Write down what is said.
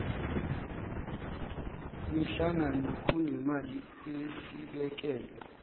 mihlangano kunemali esibekelwe